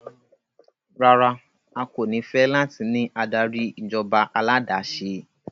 Rara, a ko ni fẹ lati ni adari ijọba aládàáṣe